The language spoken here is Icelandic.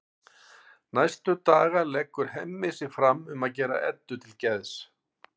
Næstu daga leggur Hemmi sig fram um að gera Eddu til geðs.